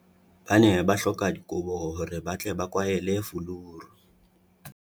Ba ne ba hloka dikobo hore ba tle ba kwahele fuluru.